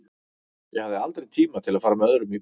Ég hafði aldrei tíma til að fara með öðrum í bíó.